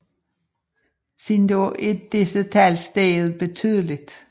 Siden da er disse tal steget betydeligt